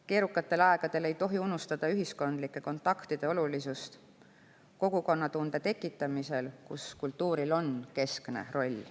Keerukatel aegadel ei tohi unustada ühiskondlike kontaktide olulisust kogukonnatunde tekitamisel, kus kultuuril on keskne roll.